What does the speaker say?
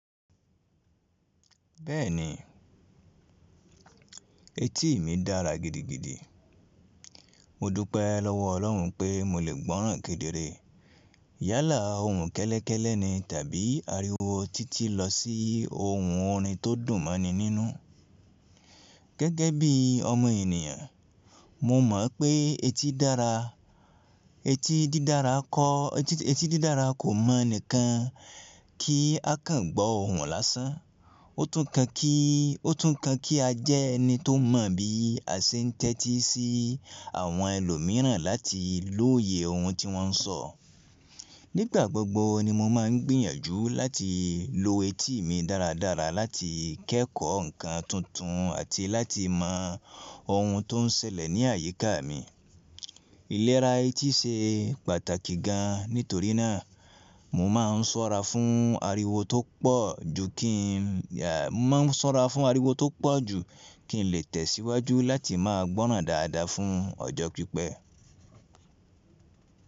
Bẹ́ẹ̀ni, etí mi dára gidigidi. Mo dúpẹ́ lọ́wọ́ Ọlọ́run ń pé mo lè gbọ́ràn kedere. Yálà ohùn kẹ́lẹ́kẹ́lẹ́ ni tàbí ariwo títí lọ sí ohùn orin tó dùn mọ́ ni nínú. Gẹ́gẹ́ bí ọmọ ènìyàn, mo mọ̀ pé etí dára. Etí dídára kò mọ ni kan kí a kàn gbọ́ ohùn lásán. Ó tún kàn kí a jẹ́ ẹni tó mọ bí a ṣe ń tẹ́tí sí àwọn ẹlòmíràn láti lóye ohùn tí wọ́n ń sọ. Nígbà gbogbo ni mo máa ń gbìyànjú láti lo etí mi dáradára láti kẹ́kọ̀ọ́ ǹkan tuntun àti láti mọ ohun tó ń ṣẹlẹ̀ ní àyíká mi. Ìlera etí ṣe pàtàkì gan, nítorí náà mo máa ń ṣọ́ra fún ariwo tó pọ̀ ju kí n lè tẹ̀síwájú láti máa gbọ́ràn dáadáa fún ọjọ́ pípẹ́.